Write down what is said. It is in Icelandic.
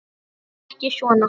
Láttu ekki svona